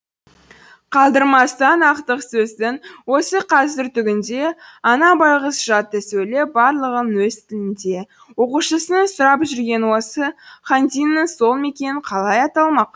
қалдырмастан ақтық сөздің осы қазір түгінде ана байғұс жатты сөйлеп барлығын өз тілінде оқушысының сұрап жүргені осы хан диннің сол мекен қалай аталмақ